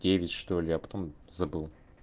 девять что ли а потом забыл